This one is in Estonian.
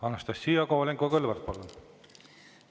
Anastassia Kovalenko-Kõlvart, palun!